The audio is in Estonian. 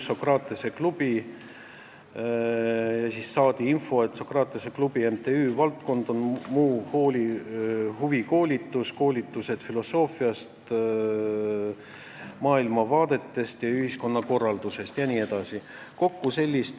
Saadi infot, et MTÜ Sokratese klubi valdkond on muu huvikoolitus, koolitused filosoofia, maailmavaadete, ühiskonnakorralduse jne kohta.